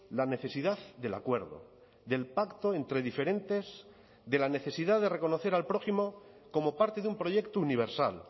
la necesidad del acuerdo del pacto entre diferentes de la necesidad de reconocer al prójimo como parte de un proyecto universal